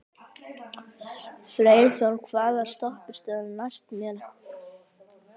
Freyþór, hvaða stoppistöð er næst mér?